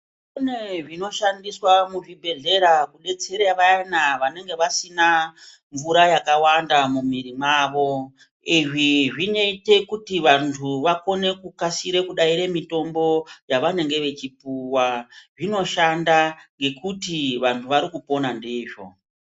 Kune zvinoshandiswa muzvibhedhleya kudetsera vayana vanenge vasina mvura yakawanda mumwiri wavo izvi zvinoite kuti vantu vakone kukasire kudaire mitombo yavanenge vachipuwa zvinoshanda nekuti vantu varikupona ndizvo.